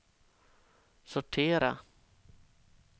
sortera